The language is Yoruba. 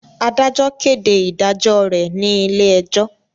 Adajọ kede idajọ re ni ile-ẹjo